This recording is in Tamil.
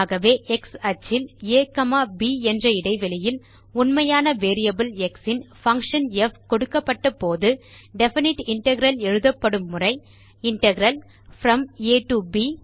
ஆகவே x அச்சில் ஆ ப் என்ற இடைவெளியில் உண்மையான வேரியபிள் எக்ஸ் இன் பங்ஷன் ப் கொடுக்கப்பட்ட போது டெஃபினைட் இன்டெக்ரல் எழுதப்படும் முறை இன்டெக்ரல் ப்ரோம் ஆ டோ ப்